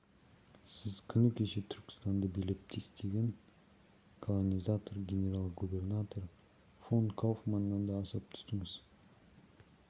сіз күні кеше түркістанды билеп-төстеген колонизатор генерал-губернатор фон кауфманнан да асып түстіңіз